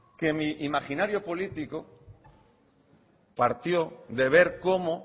que mi imaginario político partió de ver cómo